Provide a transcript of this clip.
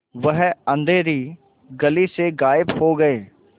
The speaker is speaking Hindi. वह अँधेरी गली से गायब हो गए